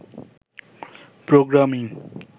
programming